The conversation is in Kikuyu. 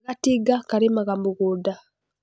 Gatinga karĩmaga mũgũnda.